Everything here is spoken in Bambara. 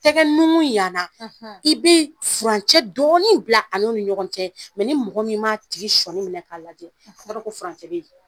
Tɛ nunkun yana i bɛ furancɛ dɔɔni bila an'o ni ɲɔgɔn cɛ mɛ ni mɔgɔ min m'a tigi sɔni minɛ k'a lajɛ o t'a don ko furancɛ bɛ yen